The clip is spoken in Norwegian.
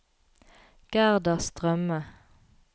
Gerda Strømme